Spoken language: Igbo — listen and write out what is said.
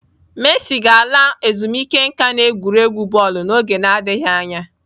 Messi ga-ala ezumike nka n'egwuregwu bọọlụ n'oge adịghị anya.